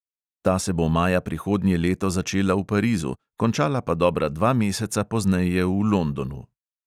Ta se bo maja prihodnje leto začela v parizu, končala pa dobra dva meseca pozneje v londonu.